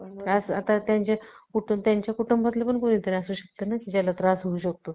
असं त्यांचे त्यांच्या कुटुंबातलं कोणीतरी असेल असू शकतं ना ज्यांना त्रास होऊ शकतो